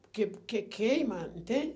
Porque que queima,